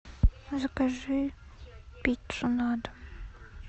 закажи пиццу на дом